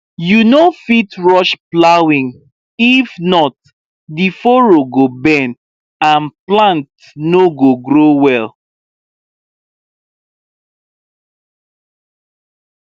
you no fit rush plowing if not the furrow go bend and plant no go grow well